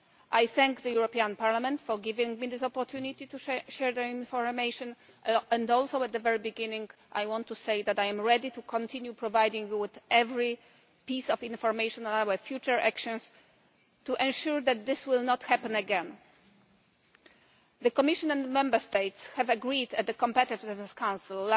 I thank the European Parliament for giving me this opportunity to share information and also at the very beginning I want to say that I am ready to continue providing you with every piece of information about my future actions to ensure that such a fraud will not happen again. The Commission and Member States agreed, at the Competitiveness Council